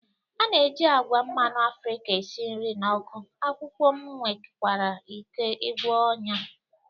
A na-eji agwa mmanụ Afrika esi nri na ọkụ, akwụkwọ m nwekwara ike gwọọ ọnyá.